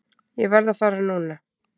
Ég verð að fara núna!